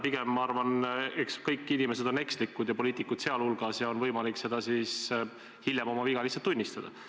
Pigem ma arvan, eks kõik inimesed on ekslikud ja poliitikud sealhulgas, ja on võimalik hiljem oma viga lihtsalt tunnistada.